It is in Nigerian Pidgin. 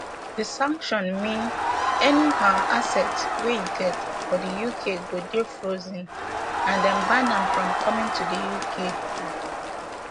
di sanction mean any um assets wey e get for di uk go dey frozen and dem ban am from coming to di uk um